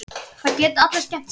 Það geta allir skemmt sér.